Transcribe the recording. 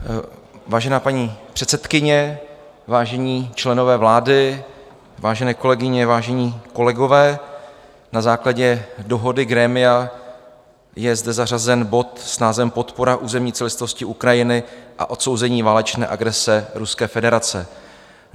Vážená paní předsedkyně, vážení členové vlády, vážené kolegyně, vážení kolegové, na základě dohody grémia je zde zařazen bod s názvem Podpora územní celistvosti Ukrajiny a odsouzení válečné agrese Ruské federace.